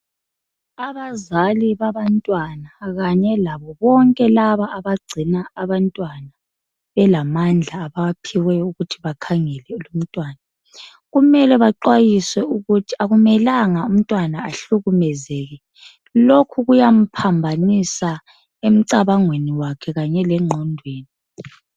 Abazali babantwana kanye labo bonke abagcina abantwana abayabe belamandla abawaphiweyo okuthi bakhangele lumntwana. Kumele banxwayiswe ukuthi akumelanga umntwana bahlukumezeke. Lokhu kuyamphambanisa emncabangweni kanye lengqondweni.